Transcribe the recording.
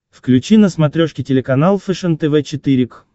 включи на смотрешке телеканал фэшен тв четыре к